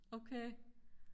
okay